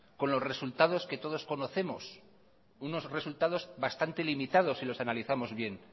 con los resultados que todos conocemos unos resultados bastante limitados si los analizamos bien